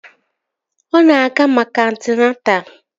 Ọ na-aga maka antịnata